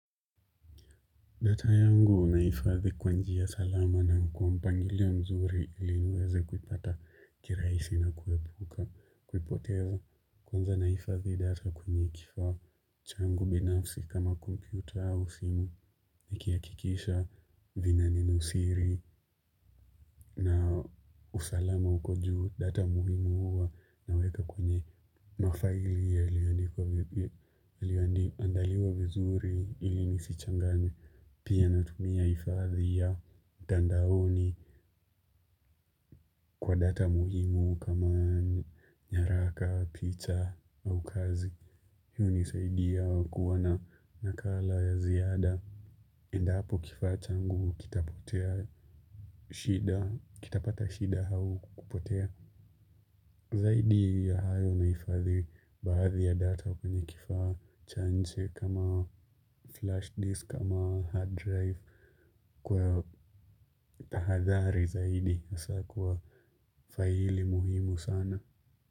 Ndoto yangu nahifadhi kwa njia salama na kwa mpangilio nzuri iliniweze kuipata kirahisi na kuepuka kuipoteza kwanza nahifadhi data kwenye kifaa changu binafsi kama kompyuta au simu. Nikihakikisha vina nenosiri na usalama uko juu data muhimu huwa naweka kwenye mafaili yaliyoandaliwa vizuri ili nisichanganye. Pia natumia uhifadhi ya mtandaoni kwa data muhimu kama nyaraka picha au kazi. Hii hunisaidia kuona nakala ya ziada. Endapo kifaa changu kitapotea shida, kitapata shida au kupotea. Zaidi ya hayo nahifadhi baadhi ya data kwenye kifaa cha nje kama flash disk, kama hard drive. Kwa tahadhari zaidi hasa kwa faili muhimu sana.